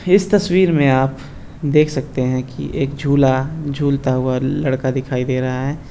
इस तस्वीर में आप देख सकते है की एक झूला झूलता हुआ लड़का दिखाई दे रहा है।